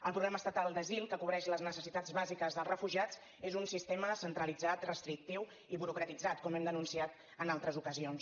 el problema estatal d’asil que cobreix les necessitats bàsiques dels refugiats és un sistema centralitzat restrictiu i burocratitzat com hem denunciat en altres ocasions